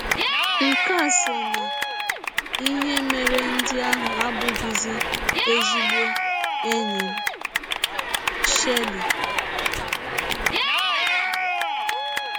Nke a sọ n’ihe mere ndị ahụ abụghịzi ezịgbọ ndị enyi m. ”— Shirley.